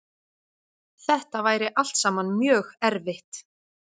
Þetta væri allt saman mjög erfitt